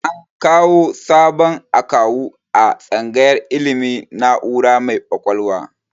An kawu sabon akawu a tsangayar ilmin na'ura mai kwakwalwa